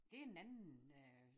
Det en anden øh